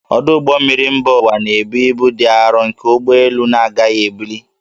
Ọdụ ụgbọ mmiri mba ụwa na-ebu ibu dị arọ nke ụgbọ elu na-agaghị ebuli